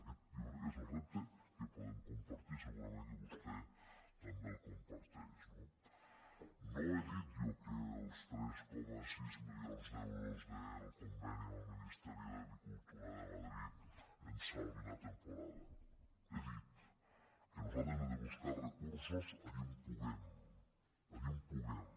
aquest jo crec que és el repte que podem compartir segurament que vostè també el comparteix no no he dit jo que els tres coma sis milions d’euros del conveni amb el ministeri d’agricultura de madrid ens salvin la temporada he dit que nosaltres hem de buscar recursos allí on puguem allí on puguem